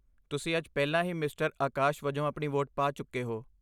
ਤੁਸੀਂ ਅੱਜ ਪਹਿਲਾਂ ਹੀ ਮਿਸਟਰ ਆਕਾਸ਼ ਵਜੋਂ ਆਪਣੀ ਵੋਟ ਪਾ ਚੁੱਕੇ ਹੋ।